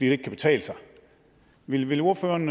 ikke kan betale sig vil vil ordføreren